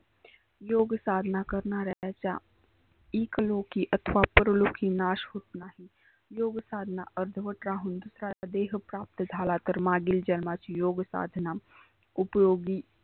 योग साधना करणाऱ्याच्या इकलिकी अथवा परलोकी नाश होत नाही. योग साधना अर्धवट राहून देह प्राप्त झाला करमादील योग साधना उपयोगी